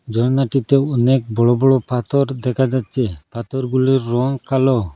ঝরনাটিতে অনেক বড়ো বড়ো পাথর দেখা যাচ্ছে পাথরগুলোর রং কালো।